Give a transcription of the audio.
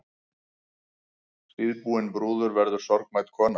Síðbúin brúður verður sorgmædd kona.